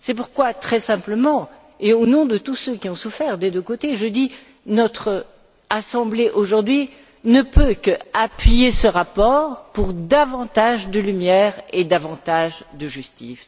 C'est pourquoi, très simplement et au nom de tous ceux qui ont souffert des deux côtés, je dis que notre assemblée aujourd'hui ne peut qu'appuyer ce rapport pour davantage de lumière et davantage de justice.